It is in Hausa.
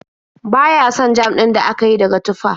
Ba ya son jam din da aka yi daga tufah.